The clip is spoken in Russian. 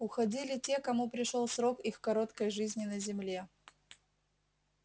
уходили те кому пришёл срок их короткой жизни на земле